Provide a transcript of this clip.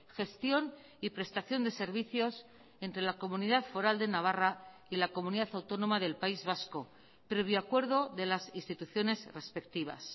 gestión y prestación de servicios entre la comunidad foral de navarra y la comunidad autónoma del país vasco previo acuerdo de las instituciones respectivas